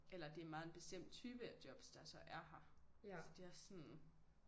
Eller det er meget en bestemt type af jobs der så er her så de også sådan